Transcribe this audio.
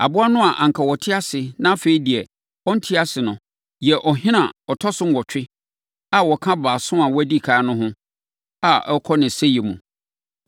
Aboa no a anka na ɔte ase na afei deɛ, ɔnte ase no yɛ ɔhene a ɔtɔ so nwɔtwe a ɔka baason a wɔdi ɛkan no ho a ɔrekɔ ne sɛeɛ mu.